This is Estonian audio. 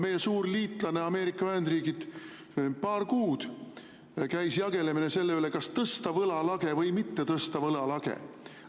Meie suur liitlane Ameerika Ühendriigid, seal paar kuud käis jagelemine selle üle, kas tõsta võlalage või mitte tõsta võlalage.